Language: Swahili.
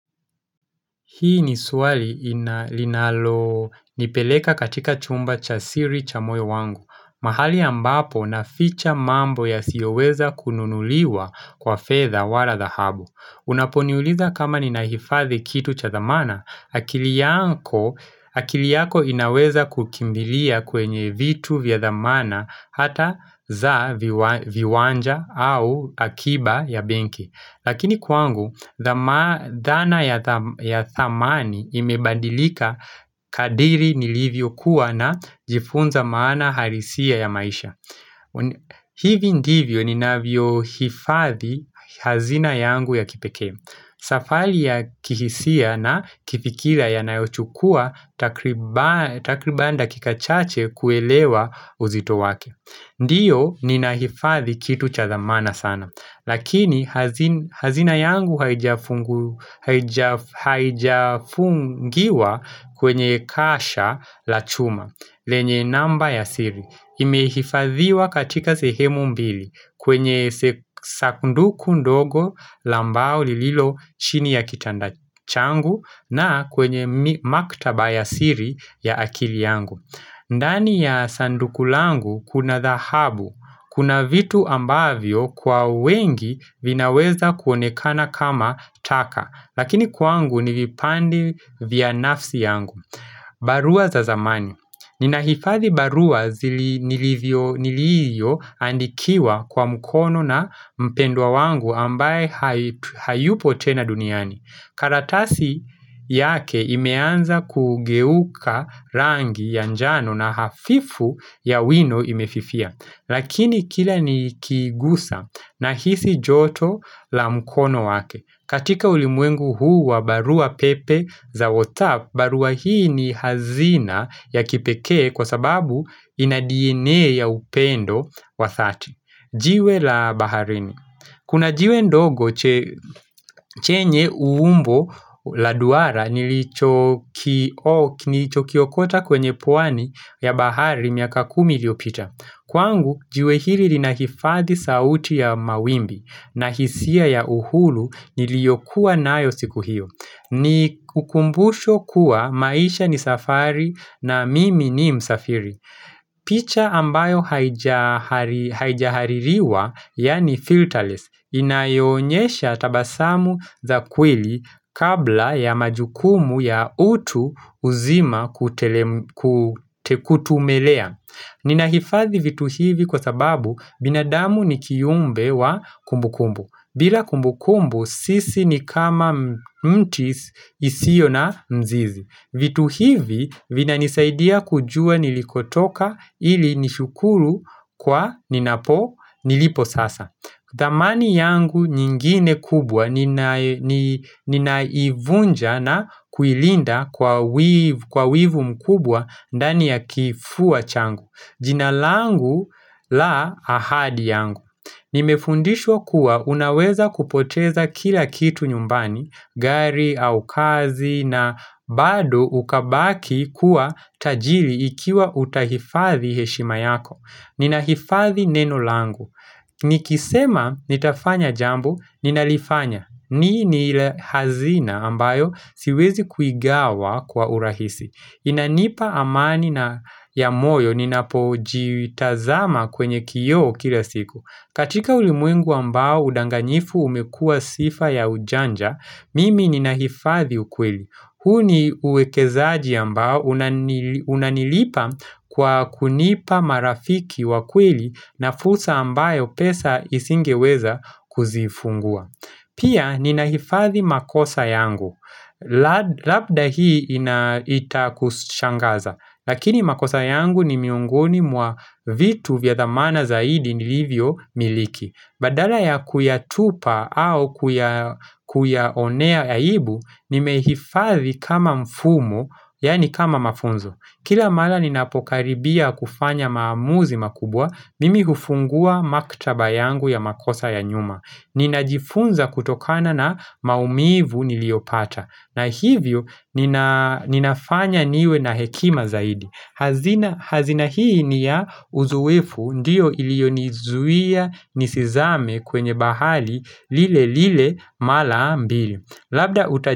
Hii ni swali linalonipeleka katika chumba cha siri cha moyo wangu. Mahali ambapo naficha mambo yasiyoweza kununuliwa kwa fedha wala dhahabu. Unaponiuliza kama ninahifadhi kitu cha dhamana, akili yako inaweza kukimbilia kwenye vitu vya dhamana hata za viwanja au akiba ya benki. Lakini kwangu, dhana ya thamani imebadilika kadiri nilivyokuwa najifunza maana harisia ya maisha hivi ndivyo ninavyohifadhi hazina yangu ya kipekee Safali ya kihisia na kifikira yanayochukua takriban dakika chache kuelewa uzito wake Ndiyo ninahifadhi kitu cha thamana sana Lakini hazina yangu haijafungiwa kwenye kasha la chuma lenye namba ya siri Imehifadhiwa katika sehemu mbili kwenye sakunduku ndogo la mbao lililo chini ya kitanda changu na kwenye maktaba ya siri ya akili yangu ndani ya sanduku langu kuna dhahabu, kuna vitu ambavyo kwa wengi vinaweza kuonekana kama taka, lakini kwangu ni vipande vya nafsi yangu. Barua za zamani. Ninahifadhi barua zili niliyoandikiwa kwa mkono na mpendwa wangu ambaye hayupo tena duniani. Karatasi yake imeanza kugeuka rangi ya njano na hafifu ya wino imefifia. Lakini kila nikigusa nahisi joto la mkono wake. Katika ulimwengu huu wa barua pepe za Whatsapp, barua hii ni hazina ya kipekee kwa sababu ina DNA ya upendo wa thati. Jiwe la baharini. Kuna jiwe ndogo chenye umbo la duara nilichokiokota kwenye pwani ya bahari miaka kumi iliyopita. Kwangu jiwe hili linahifadhi sauti ya mawimbi na hisia ya uhuru niliyokuwa nayo siku hiyo. Ni ukumbusho kuwa maisha ni safari na mimi ni msafiri picha ambayo haijahaririwa yaani filterless Inayoonyesha tabasamu za kweli kabla ya majukumu ya utu uzima kutumelea Ninahifadhi vitu hivi kwa sababu binadamu ni kiumbe wa kumbukumbu bila kumbukumbu sisi ni kama mtis isio na mzizi vitu hivi vinanisaidia kujua nilikotoka ili nishukuru kwa ninapo nilipo sasa thamani yangu nyingine kubwa ninaivunja na kuilinda kwa wivu mkubwa ndani ya kifua changu jina langu la ahadi yangu Nimefundishwa kuwa unaweza kupoteza kila kitu nyumbani, gari au kazi na bado ukabaki kuwa tajili ikiwa utahifadhi heshima yako. Ninahifadhi neno langu. Nikisema nitafanya jambo ninalifanya. Ni ni hazina ambayo siwezi kuigawa kwa urahisi. Inanipa amani na ya moyo ninapojiitazama kwenye kioo kila siku. Katika ulimwengu ambao udanganyifu umekua sifa ya ujanja, mimi ninahifadhi ukweli. Huu ni uwekezaji ambao unanilipa kwa kunipa marafiki wa kweli na fursa ambayo pesa isingeweza kuzifungua. Pia ninahifadhi makosa yangu. Labda hii inaita kushangaza. Lakini makosa yangu ni miongoni mwa vitu vya thamana zaidi nilivyomiliki. Badala ya kuyatupa au kuyaonea aibu, nimehifadhi kama mfumo, yaani kama mafunzo. Kila mala ninapokaribia kufanya maamuzi makubwa, mimi hufungua maktaba yangu ya makosa ya nyuma. Ninajifunza kutokana na maumivu niliyopata. Na hivyo, ninafanya niwe na hekima zaidi. Hazina hii ni ya uzoefu ndiyo iliyonizuia nisizame kwenye bahali lile lile mala mbili.